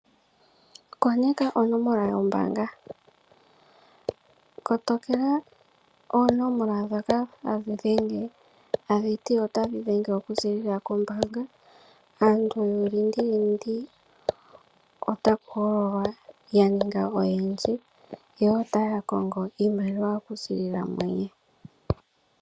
Koneka onomola yombaanga . Kotokela oonomola ndhoka hadhi dhenge tadhi ti otadhi dhenge okuziilila kombaanga . Aantu yuulingilingi otaku hololwa yaninga oyendji , yo otaya kongo iimaliwa okuziilila muye.